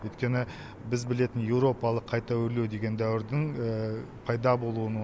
өйткені біз білетін еуропалық қайта өрлеу деген дәуірдің пайда болуын